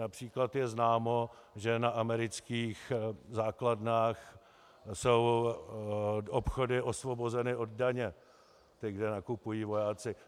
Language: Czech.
Například je známo, že na amerických základnách jsou obchody osvobozeny od daně, kde nakupují vojáci.